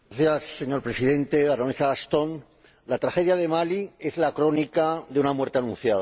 Señor Presidente, baronesa Ashton, la tragedia de Malí es la crónica de una muerte anunciada.